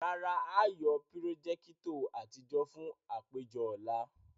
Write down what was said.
Rara, a yóò pirojekitọ atijọ fun apejọ ọla.